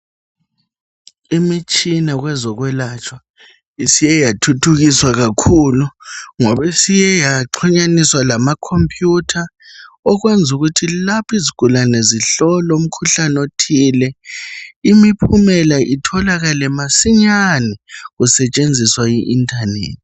imitshina kwezokwelatshwa isiye yathuthukiswa kakhulu ngoba isiye yaxhunyaniswa lama computer okwenza ukuthi lapha izigulane zihlolwe umkhuhlane othile imiphumela itholakale masinyane kusetshenziswa i internet